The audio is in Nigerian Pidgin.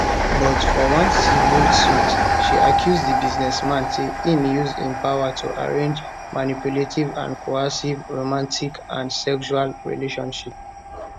but for one civil suit she accuse di business man say im use im power to arrange manipulative and coercive romantic and sexual relationship